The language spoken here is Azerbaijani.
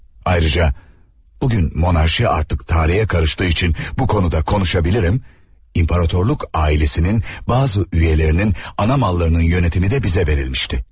Ayrıca, bugün monarxiya artıq tarixə qarışdığı üçün bu konuda konuşa bilirim, imperatorluq ailəsinin bəzi üzvlərinin ana mallarının yönetimi də bizə verilmişdi.